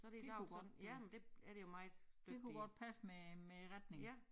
Det kunne godt ja det kunne godt passe med æ retning